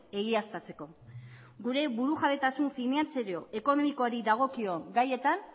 egiaztatzeko gure burujabetasun finantzario ekonomikoari dagokion gaietan